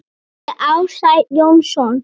eftir Ársæl Jónsson